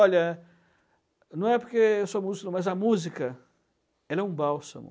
Olha, não é porque eu sou músico, mas a música, ela é um bálsamo.